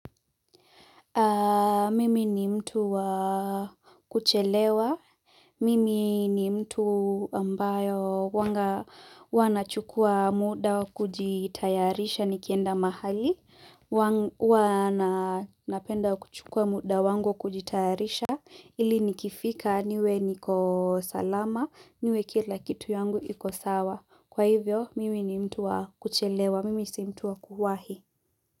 Mimi ni mtu wa kuchelewa, mimi ni mtu ambayo huwanga huwa nachukua muda wa kujitayarisha nikienda mahali, huwa napenda kuchukua muda wangu kujitayarisha ili nikifika niwe niko salama, niwe kila kitu yangu iko sawa, kwa hivyo mimi ni mtu wa kuchelewa, mimi si mtu wa kuhuwahi.